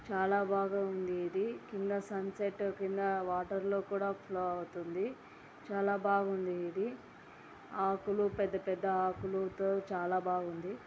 చాలా బాగా ఉంది ఇది కింద సన్ సెట్ కింద వాటర్ లో కూడా ఫ్లో అవుతుంది చాలా బాగుంది ఇది ఆకులు పెద్ద పెద్ద ఆకులో చాలా బాగా ఉంది.